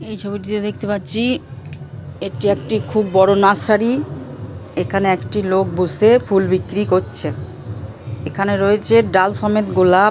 এই ছবিতে দেখতে পাচ্ছি এটি একটি খুব বড় নার্সারি । এখানে একটি লোক বসে ফুল বিক্রি করছে। এখানে রয়েছে ডাল সমেত গোলাপ--